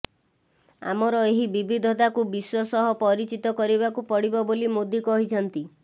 ଆମର ଏହି ବିବିଧତାକୁ ବିଶ୍ବ ସହ ପରିଚିତ କରିବାକୁ ପଡ଼ିବ ବୋଲି ମୋଦି କହିଛନ୍ତି